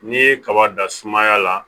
N'i ye kaba dan sumaya la